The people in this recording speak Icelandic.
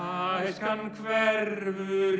æskan hverfur